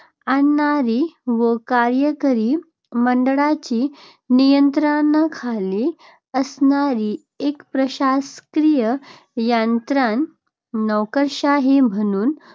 आणणारी व कार्यकारी मंडळाच्या नियंत्रणाखाली असणारी एक प्रशासकीय यंत्रणा नोकरशाही म्हणून